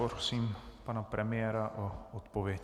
Prosím pana premiéra o odpověď.